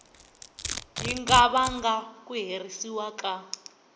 nga vanga ku herisiwa ka